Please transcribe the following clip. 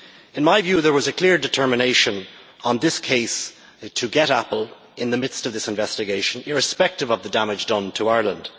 In my view, there was a clear determination on this case to get Apple in the midst of this investigation, irrespective of the damage done to Ireland.